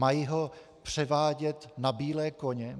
Mají ho převádět na bílé koně?